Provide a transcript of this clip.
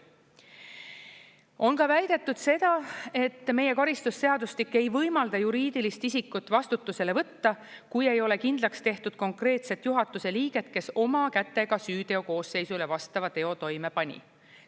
On ka väidetud seda, et meie karistusseadustik ei võimalda juriidilist isikut vastutusele võtta, kui ei ole kindlaks tehtud konkreetset juhatuse liiget, kes oma kätega süüteokoosseisule vastava teo toime pani.